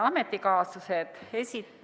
Head ametikaaslased!